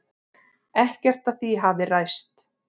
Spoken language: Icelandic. Ekkert af því hafi ræst.